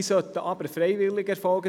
Sie sollten aber freiwillig erfolgen.